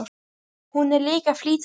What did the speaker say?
Hún er líka að flýta sér.